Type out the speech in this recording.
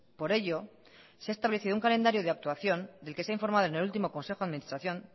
por ello se ha establecido un calendario de actuación del que se ha informado en el último consejo de administración